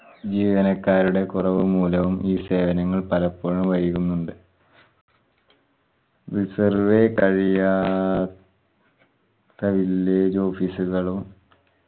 ജീവനക്കാരുടെ കുറവു മൂലവും ഈ സേവനങ്ങൾ പലപ്പോഴും വൈകുന്നുണ്ട് resurvey കഴിയാ ത്ത villlage office ഉകളും